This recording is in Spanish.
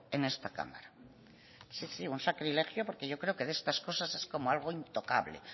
en esta cámara sí un sacrilegio porque yo creo que de estas cosas es como algo intocable